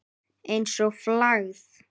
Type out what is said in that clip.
Einsog flagð.